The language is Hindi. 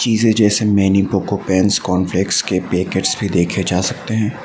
इसे जैसे MamyPoko pants corn flakes के पैकेट्स भी देखे जा सकते हैं।